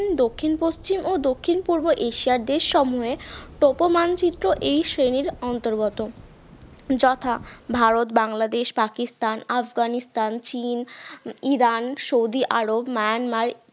দক্ষিণ-পশ্চিম ও দক্ষিণ পূর্ব এশিয়ার দেশে সমূহে পপ মানচিত্র এই শ্রেণীর অন্তর্গত যথা ভারত বাংলাদেশ পাকিস্তান আফগানিস্তান চীন ইরান সৌদি আরব মায়ানমার